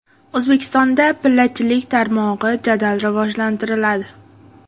O‘zbekistonda pillachilik tarmog‘i jadal rivojlantiriladi.